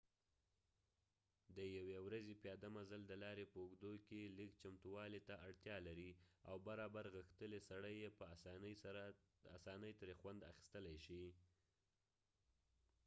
د یو ی ورځی پیاده مزل د لارې په اوږدکې لږ چمتووالی ته اړتیا لري او برابر غښتلی سړی یې په اسانۍ تری خوند اخستلی شي